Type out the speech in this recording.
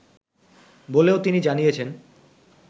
বলেও তিনি জানিয়েছেন